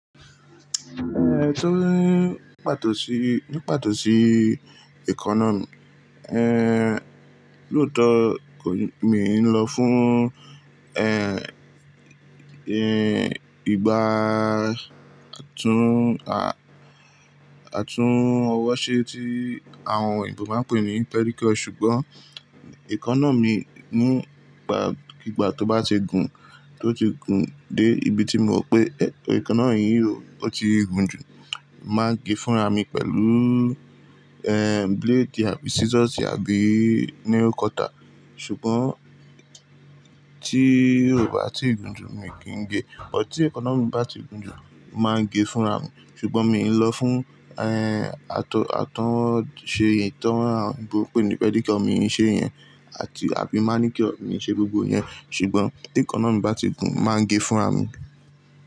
Eh, tó ní pàtó sí, ní pàtó sí economy, eh, lóòótọ́ kò ní, mi n lọ fún, eh, eh, ìgbá àtún, a-àtún ọwọ́ ṣe tí àwọn òyìnbó máa ń pè ní pedicure. Ṣùgbọ́n èékánná mi ní ìgbà, ní ìgbà tó bá ti gùn, tó ti gùn dé ibi tí mo mọ pé economy yìí ó ti gùn jù, màá gé fúnra mi pẹ̀lú, eh, blade àbí scissors àbí nail cutter. Ṣùgbọ́n tí kò bá ti gùn jù mí kì í gé. Ọ̀ tí economy bá ti gùn jù, màá gé fúnra mi. Ṣùgbọ́n mi n lọ fún, eh, àtọ, àtúnṣe, ìtọ́ àwọn òyìnbó pé ní pedicure mi n ṣe yẹn àti àbí máa ní kí ọ̀ mi ṣe gbogbo yẹn. Ṣùgbọ́n tí èékánná mi bá ti gùn màá gé fúnra mi.